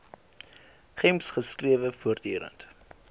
gems strewe voortdurend